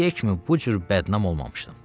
indiyə kimi bu cür bədnam olmamışdım.